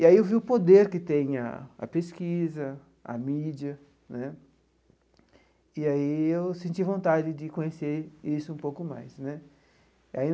E aí eu vi o poder que tem a a pesquisa, a mídia né, e aí eu senti vontade de conhecer isso um pouco mais né aí.